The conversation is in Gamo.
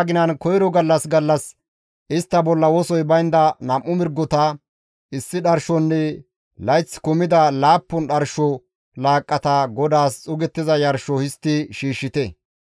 aginan koyro gallas gallas istta bolla wosoy baynda nam7u mirgota, issi dharshonne layth kumida laappun dharsho laaqqata GODAAS xuugettiza yarsho histti shiishshite.